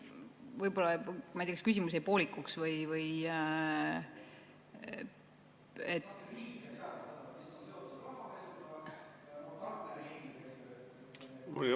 Võib-olla, ma ei tea, kas küsimus jäi poolikuks või?